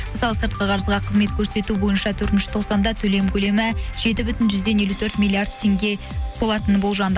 мысалы сыртқы қарызға қызмет көрсету бойынша төртінші тоқсанда төлем көлемі жеті бүтін жүзден елу төрт миллиард теңге болатыны болжанды